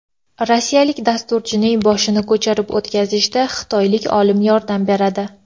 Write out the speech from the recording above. Rossiyalik dasturchining boshini ko‘chirib o‘tkazishda xitoylik olim yordam beradi.